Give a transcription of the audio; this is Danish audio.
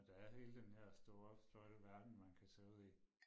Når der er hele den her store flotte verden man kan tage ud i